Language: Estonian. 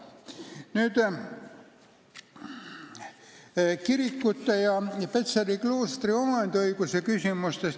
Nüüd kirikutest ja Petseri kloostri omandiõigusest.